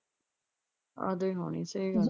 ਤਦ ਈ ਹੋਣੀ ਸਹੀ ਗੱਲ ਆ।